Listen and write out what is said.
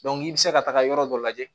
i bɛ se ka taga yɔrɔ dɔ lajɛ